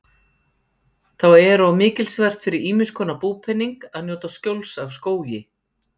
Þá er og mikilsvert fyrir ýmiss konar búpening að njóta skjóls af skógi.